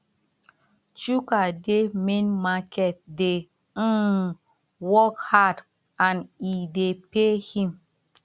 chuka dey main market dey um work hard and e dey pay him